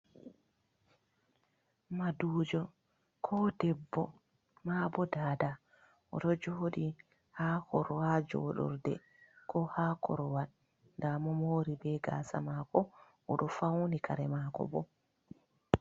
Madujo ko debbo ma bo Dada o ɗo joɗi ha joɗurde ko ha korwal nda mo mori be gasa mako o ɗo fauni kare mako bo.